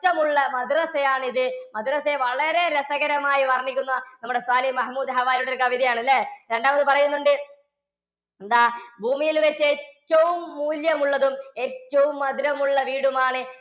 മുള്ള മദ്രസ്സയാണിത്. മദ്രസ്സയെ വളരെ രസകരമായി വര്‍ണ്ണിക്കുന്ന നമ്മുടെ സ്വാലിഹ് മഹമൂദ്‌ ഹാരിയുടെ ഒരു കവിതയാണ് ല്ലേ? രണ്ടാമത് പറയുന്നുണ്ട്. എന്താ? ഭൂമിയില്‍ വച്ചു ഏറ്റവും മൂല്യം ഉള്ളതും ഏറ്റവും മധുരമുള്ള വീടുമാണ്‌